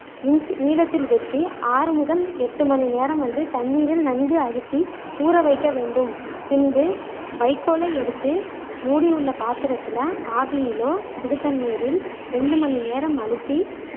நீளத்தில் வெட்டி ஆறு முதல் எட்டு மணி நேரம் வந்து தண்ணீரில் நன்கு அழுத்தி ஊற வைக்க வேண்டும் பின்பு வைகோலை எடுத்து மூடி உள்ள பாத்திரத்தில ஆவியிலோ சுடுதண்ணீரில் இரண்டு மணி நேரம் அழுத்தி